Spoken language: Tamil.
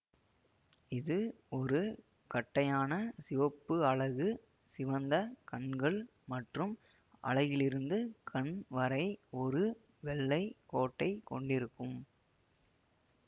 இது ஒரு கட்டையான சிவப்பு அலகு சிவந்த கண்கள் மற்றும் அலகிலிருந்து கண் வரை ஒரு வெள்ளை கோட்டை கொண்டிருக்கும்